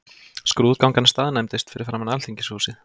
Skrúðgangan staðnæmdist fyrir framan Alþingishúsið.